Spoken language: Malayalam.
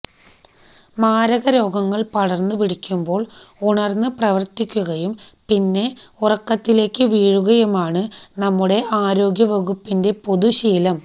മാരകരോഗങ്ങൾ പടർന്ന് പിടിക്കുമ്പോൾ ഉണർന്ന് പ്രവർത്തിക്കുകയും പിന്നെ ഉറക്കത്തിലേക്ക് വീഴുകയുമാണ് നമ്മുടെ ആരോഗ്യ വകുപ്പിന്റെ പൊതുശീലം